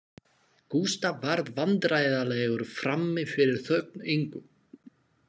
Gústaf varð vandræðalegur frammi fyrir þögn Ingu